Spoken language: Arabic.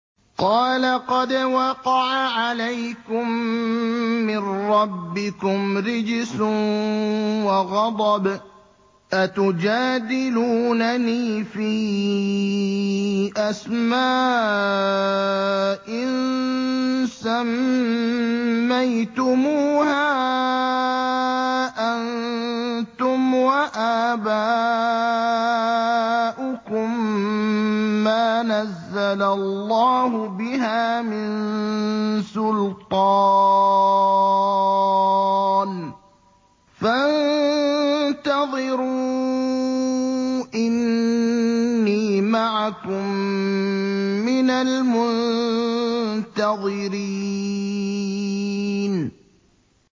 قَالَ قَدْ وَقَعَ عَلَيْكُم مِّن رَّبِّكُمْ رِجْسٌ وَغَضَبٌ ۖ أَتُجَادِلُونَنِي فِي أَسْمَاءٍ سَمَّيْتُمُوهَا أَنتُمْ وَآبَاؤُكُم مَّا نَزَّلَ اللَّهُ بِهَا مِن سُلْطَانٍ ۚ فَانتَظِرُوا إِنِّي مَعَكُم مِّنَ الْمُنتَظِرِينَ